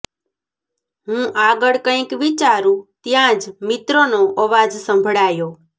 હું આગળ કંઈક વિચારું ત્યાં જ મિત્રનો અવાજ સંભળાયો